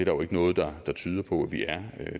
jo ikke noget der tyder på at vi er